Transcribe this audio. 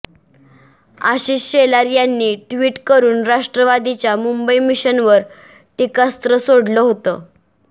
आशिष शेलार यांनी ट्वीट करून राष्ट्रवादीच्या मुंबई मिशनवर टीकास्त्र सोडलं होतं